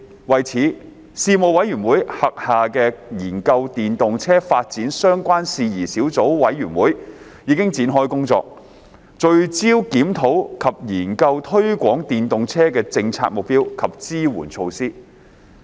為此，事務委員會轄下的研究電動車發展相關事宜小組委員會已展開工作，聚焦檢討及研究推廣電動車的政策目標及支援措施。